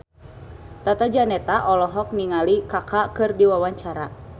Tata Janeta olohok ningali Kaka keur diwawancara